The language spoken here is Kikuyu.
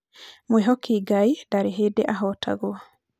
mwĩhoki Ngai ndarĩ hĩndĩ ahotagwo